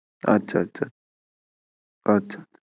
আচ্ছা আচ্ছা আচ্ছা